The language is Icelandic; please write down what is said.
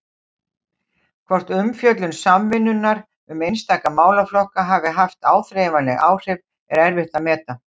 Hvort umfjöllun Samvinnunnar um einstaka málaflokka hafi haft áþreifanleg áhrif, er erfitt að meta.